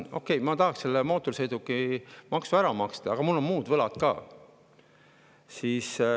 Okei, ma tahaksin selle mootorsõidukimaksu ära maksta, aga, et mul on muud võlad ka.